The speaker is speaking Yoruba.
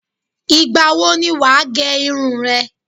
Ìgbà wo ni wà á gẹ irun re?